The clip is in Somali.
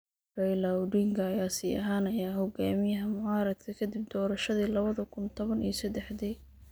Raila Odinga ayaa sii ahaanaya hogaamiyaha mucaaradka kadib doorashadii lawada kuun toban iyo sadexdii.